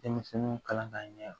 Denmisɛnninw kalan ka ɲɛ